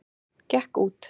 Gekk út!